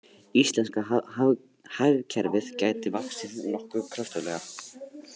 Íslenska hagkerfið gæti vaxið nokkuð kröftuglega